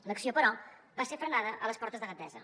l’acció però va ser frenada a les portes de gandesa